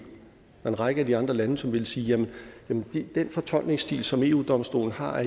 en række af de andre lande som ville sige jamen den fortolkningsstil som eu domstolen har